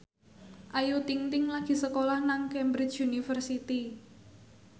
Ayu Ting ting lagi sekolah nang Cambridge University